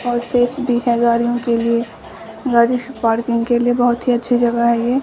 और सेफ भी हैं गाड़ियों के लिए गाड़ी सब पार्किंग के लिए बहुत ही अच्छी जगह है ये।